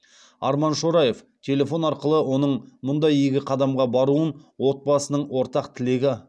арман шораев телефон арқылы оның мұндай игі қадамға баруын отбасының ортақ тілегі